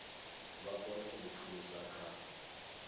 vha kone u thusa kha